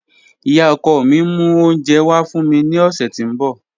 Iya ọkọ mi n mu ounjẹ wa fun mi ni ọsẹ ti n bọ.